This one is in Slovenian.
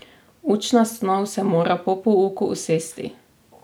Učna snov se mora po pouku usesti.